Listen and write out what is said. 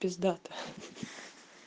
пиздата ха-ха